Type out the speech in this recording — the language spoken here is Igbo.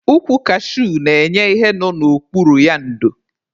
Ukwu kashuu na-enye ihe nọ n'okpuru ya ndo